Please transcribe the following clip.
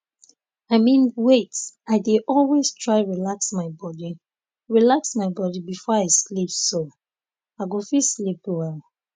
i mean wait i dey always try relax my body relax my body before i sleep so um i go fit sleep well